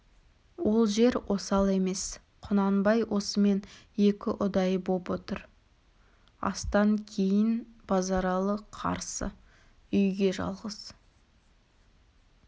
ол жер осал емес құнанбай осымен екі ұдай боп отыр астан кейін базаралы қарсы үйге жалғыз